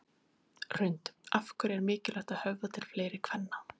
Hrund: Af hverju er mikilvægt að höfða til fleiri kvenna?